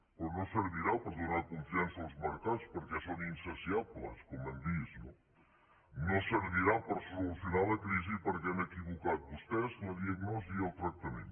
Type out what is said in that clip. però no servirà per donar confiança als mercats perquè són insaciables com hem vist no no servirà per solucionar la crisi perquè han equivocat vostès la diagnosi i el tractament